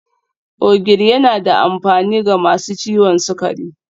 Ogiri yana da amfani ga masu ciwon sukari